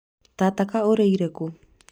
tata kaĩ ũriĩre kũ?